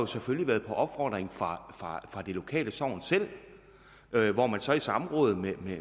selvfølgelig været på opfordring fra det lokale sogn selv hvor man så i samråd med